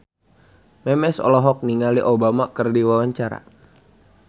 Memes olohok ningali Obama keur diwawancara